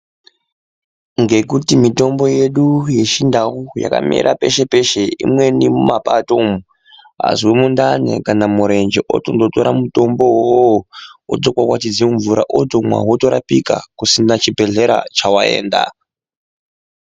Ngekuti mitombo yedu yechindau yakamera peshe peshe Imweni mumapato umu. Azwa mundani kana murenje otondotora mitombo uwowo otokwakwatidza mumvura otomwa otorapika pasina chibhedhlera chawaenda.